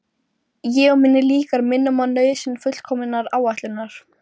Ég og mínir líkar minnum á nauðsyn fullkominnar áætlunar.